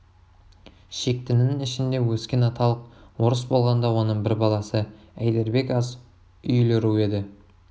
шектінің ішінде өскен аталық орыс болғанда оның бір баласы әйдербек аз үйлі ру еді